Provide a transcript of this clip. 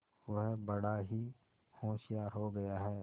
वह बड़ा ही होशियार हो गया है